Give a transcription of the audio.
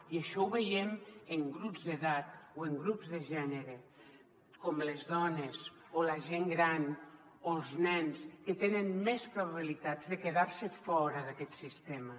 i això ho veiem en grups d’edat o en grups de gènere com les dones o la gent gran o els nens que tenen més probabilitats de quedar se fora d’aquest sistema